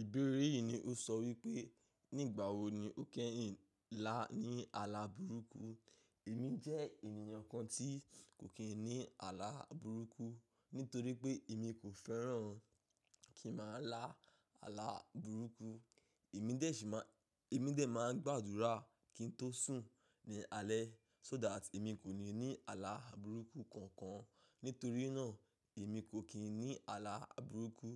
Ìbéèrè yìí ni ó sọ wípé, nígbà wo ni o kẹ́yin lá ní àlà burúkú? Èmi jẹ́ ènìyàn kan tí kò kín ní àlà burúkú, nítorí pé èmi kò fẹ́ràn kí màá lá àlà burúkú, emi dé si ma Èmi dè máa ń gbàdúrà kí ń tó sùn ní alẹ́ so that èmi kò ní ní àlà burúkú kankan. Nítorí náà, èmi kò kín ní àlà burúkú.